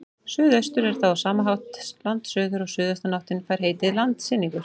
Suðaustur er þá á sama hátt landsuður og suðaustanáttin fær heitið landsynningur.